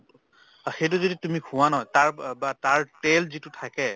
সেইটো যদি তুমি খোৱা ন তাৰ ব বা তাৰ তেল যিটো থাকে